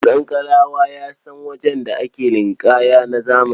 Sankalawa ya san wajen da ake ninƙaya na zamani.